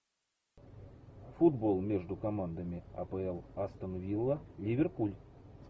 футбол между командами апл астон вилла ливерпуль